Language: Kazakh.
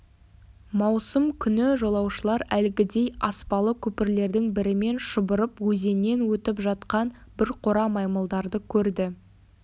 маусым күні жолаушылар әлгідей аспалы көпірлердің бірімен шұбырып өзеннен өтіп жатқан бір қора маймылдарды көрді